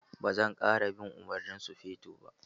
Ba zan ƙara bin umarnin sufeton ba.